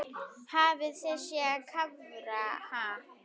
Hafið þið séð karfa, ha?